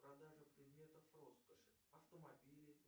продажа предметов роскоши автомобили